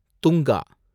Tunga